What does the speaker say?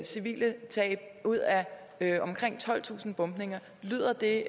civile tab ud af omkring tolvtusind bombninger lyder det